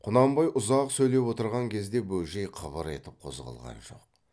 құнанбай ұзақ сөйлеп отырған кезде бөжей қыбыр етіп қозғалған жоқ